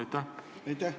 Aitäh!